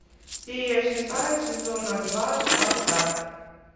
серия шестая сезона два спартак